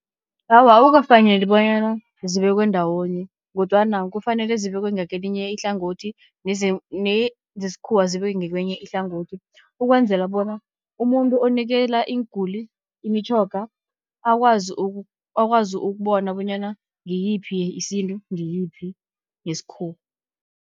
Awa, akukafaneli bonyana zibekwe ndawonye, kodwana kufanele zibekwe ngakelinye ihlangothi, nezesikhuwa zibekwe ngekwenye ihlangothi. Ukwenzela bona umuntu onikela iinguli imitjhoga, akwazi akwazi ukubona bonyana ngiyiphi yesintu ngiyiphi yesikhuwa.